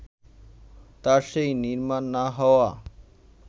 তার সেই নির্মাণ না হওয়া